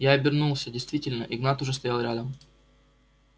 я обернулся действительно игнат уже стоял рядом